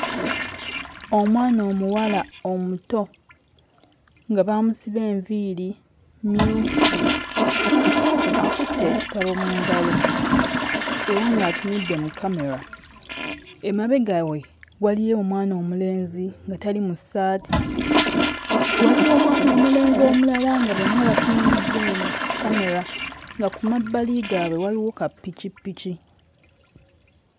Omwana omuwala omuto nga baamusiba enviiri mmyufu akutte ekitabo mu ngalo era ng'atumudde mu kkamera, emabega we waliyo omwana omulenzi nga tali mu ssaati waliwo omwana omulenzi omulala nga bonna batunuulidde eno kkamera nga ku mabbali gaabwe waliwo kappikipiki.